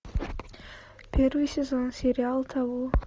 первый сезон сериал табу